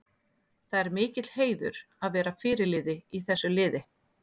Það er mikill heiður að vera fyrirliði í þessu liði.